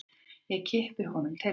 Ég kippi honum til mín.